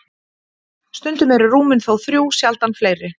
Stundum eru rúmin þó þrjú, sjaldan fleiri.